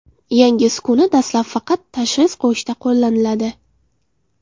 Yangi uskuna dastlab faqat tashxis qo‘yishda qo‘llaniladi.